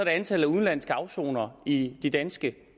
antallet af udenlandske afsonere i de danske